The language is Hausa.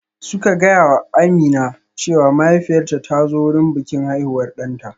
Suka gaya wa Amina cewa mahaifiyarta ta zo wurin bikin haihuwar ɗanta